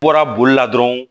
Bɔra boli la dɔrɔn